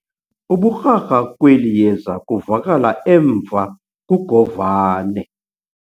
Ubukrakra kweli yeza kuvakala emva kugovane.